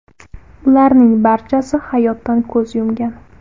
Ularning barchasi hayotdan ko‘z yumgan.